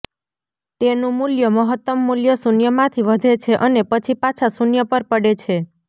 તેનું મૂલ્ય મહત્તમ મૂલ્ય શૂન્ય માંથી વધે છે અને પછી પાછા શૂન્ય પર પડે છે